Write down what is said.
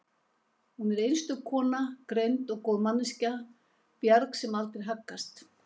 Hún er einstök kona, greind og góð manneskja, bjarg sem aldrei haggast